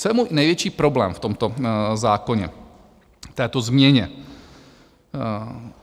Co je můj největší problém v tomto zákoně, této změně?